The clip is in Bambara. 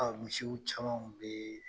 misiw caman kun bee